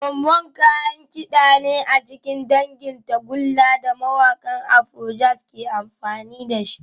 Trombone kayan kida ne a cikin dangin tagulla da mawakan Afrojazz ke amfani da shi